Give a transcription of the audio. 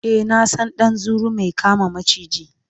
e na San ɗan zuru Mai kama maciji